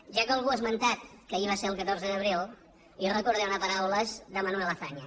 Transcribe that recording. ja que algú ha esmentat que ahir va ser el catorze d’abril jo recordaré unes paraules de manuel azaña